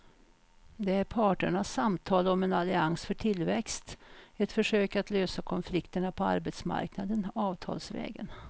Det är parternas samtal om en allians för tillväxt, ett försök att lösa konflikterna på arbetsmarknaden avtalsvägen.